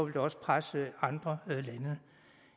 det også presse andre lande